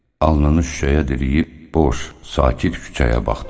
Alnını şüşəyə diriyib boş, sakit küçəyə baxdı.